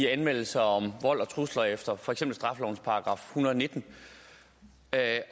af anmeldelser om vold og trusler efter for eksempel straffelovens § en hundrede og nitten